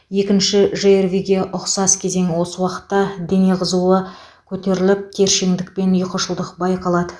екінші жрви ге ұқсас кезең осы уақытта дене қызуы көтеріліп тершеңдік пен ұйқышылдық байқалады